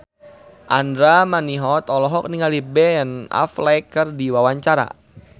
Andra Manihot olohok ningali Ben Affleck keur diwawancara